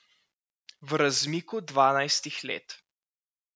V razmiku dvanajstih let.